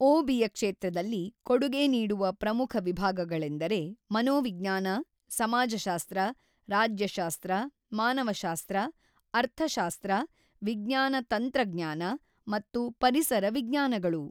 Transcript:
ಓಬಿಯ ಕ್ಷೇತ್ರದಲ್ಲಿ ಕೊಡುಗೆ ನೀಡುವ ಪ್ರಮುಖ ವಿಭಾಗಗಳೆಂದರೆ ಮನೋವಿಜ್ಞಾನ ಸಮಾಜಶಾಸ್ತ್ರ ರಾಜ್ಯಶಾಸ್ತ್ರ ಮಾನವಶಾಸ್ತ್ರ ಅರ್ಥಶಾಸ್ತ್ರ ವಿಜ್ಞಾನ ತಂತ್ರಜ್ಞಾನ ಮತ್ತು ಪರಿಸರ ವಿಜ್ಞಾನಗಳು.